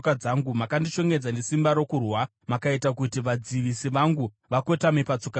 Makandishongedza nesimba rokurwa; makaita kuti vadzivisi vangu vakotame patsoka dzangu.